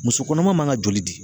Muso kɔnɔman man ga joli di